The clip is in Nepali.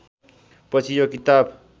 पछि यो किताब